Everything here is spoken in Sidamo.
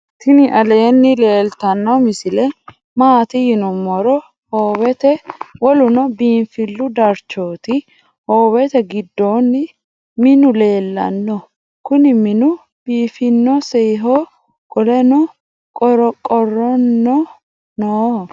tini aleni leltano misile maati yinumoro howete .woluno binfilu dararchoti howete gidoni miinu leelano kuuni minu biifinsoyiho qolenno qorqorono nooho.